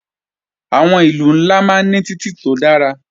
Àwọn ìlú ńlá máa ń ní títì tó dára